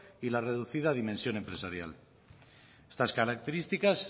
y la reducida dimensión empresarial estas características